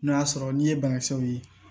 N'o y'a sɔrɔ n'i ye banakisɛw ye